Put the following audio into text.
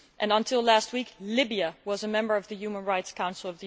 Until last week, Libya was a member of the UN Human Rights Council.